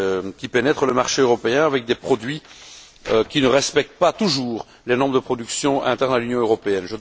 qui pénètrent le marché européen avec des produits qui ne respectent pas toujours les normes de production internes à l'Union européenne.